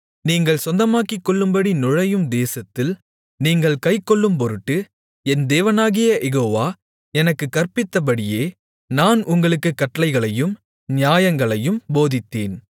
நீங்கள் சொந்தமாக்கிக்கொள்ளும்படி நுழையும் தேசத்தில் நீங்கள் கைக்கொள்ளும்பொருட்டு என் தேவனாகிய யெகோவா எனக்குக் கற்பித்தபடியே நான் உங்களுக்குக் கட்டளைகளையும் நியாயங்களையும் போதித்தேன்